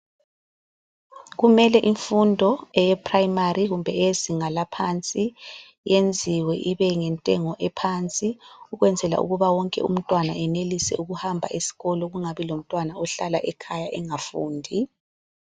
Kumele imfundo eyePrimary kumbe eyezinga laphansi yenziwe ibe yintengo ephansi ukwenzela ukuba wonke umntwana enelise ukuhamba esikolo kungabi lomntwana ohlala ekhaya engafundi.